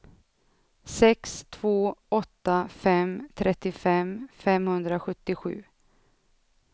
sex två åtta fem trettiofem femhundrasjuttiosju